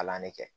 Kalan ne kɛ